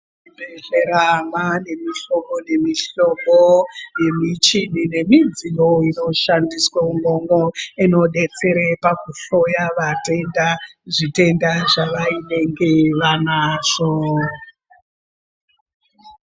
Muzvibhehlera mwaane mihlobo nemihlobo yemichini nemidziyo inoshandiswe umwomwo inodetsere pakuhloya vatenda, zvitenda zvavainenge vanazvo.